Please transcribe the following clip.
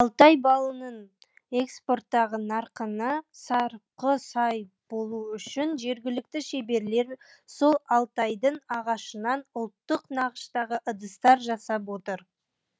алтай балының экспорттағы нарқына сарқы сай болу үшін жергілікті шеберлер сол алтайдың ағашынан ұлттық нақыштағы ыдыстар жасап жатыр